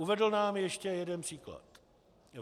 Uvedl nám ještě jeden příklad.